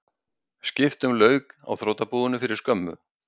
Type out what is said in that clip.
Skiptum lauk á þrotabúinu fyrir skömmu